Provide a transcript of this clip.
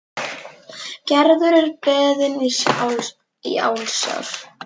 Gerður er beðin ásjár.